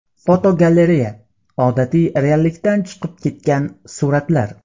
Fotogalereya: Odatiy reallikdan chiqib ketgan suratlar.